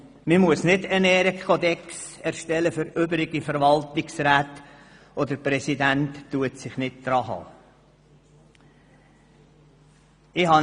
– Man muss doch keinen Ehrenkodex für Verwaltungsräte erstellen, wenn sich der Präsident selber nicht daran hält!